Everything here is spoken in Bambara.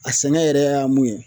A sɛgɛ yɛrɛ y'a mun ye